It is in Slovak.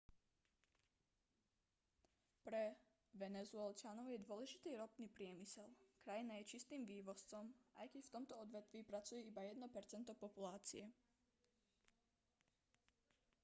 pre venezuelčanov je dôležitý ropný priemysel krajina je čistým vývozcom aj keď v tomto odvetví pracuje iba jedno percento populácie